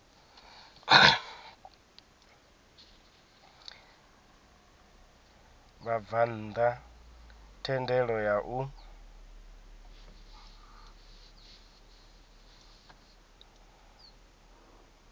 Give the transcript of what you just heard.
vhabvann ḓa thendelo ya u